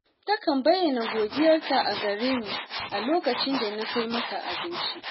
Takan bayyana godiyarta a gare ni a lokacin da na kai mata abinci